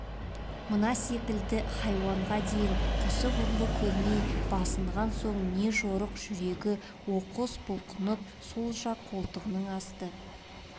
мына секілді хайуанға дейін кісі құрлы көрмей басынған соң не жорық жүрегі оқыс бұлқынып сол жақ қолтығының асты